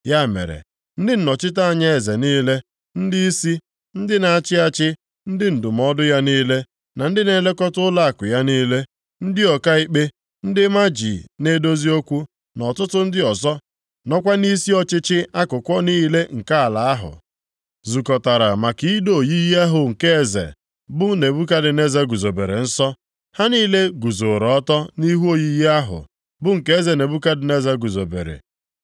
Ya mere, ndị nnọchite anya eze niile, ndịisi, ndị na-achị achị, ndị ndụmọdụ ya niile na ndị na-elekọta ụlọakụ ya niile, ndị ọkaikpe, ndị maji na-edozi okwu na ọtụtụ ndị ọzọ nọkwa nʼisi ọchịchị akụkụ niile nke ala ahụ, zukọtara maka ido oyiyi ahụ nke eze, bụ Nebukadneza guzobere nsọ. Ha niile guzooro ọtọ nʼihu oyiyi ahụ bụ nke eze Nebukadneza guzobere.